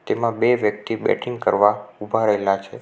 એમાં બે વ્યક્તિ બેટિંગ કરવા ઉભા રહેલા છે.